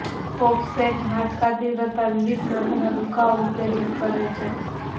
offset હાડકા તીવ્રતા વિવિધ માથાનો દુખાવો ઉત્તેજિત કરે છે